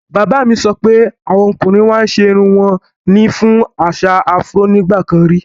Bàbá mi sọ pé awọn ọ̀kùnrin màá n ṣẹ irùn wọn ní fún àṣà Afro nígbàkàn rí.